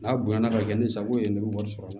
N'a bonyana ka kɛ ni sagako ye ne bɛ wari sɔrɔ